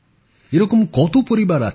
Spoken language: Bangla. এরকম কতো পরিবার আছে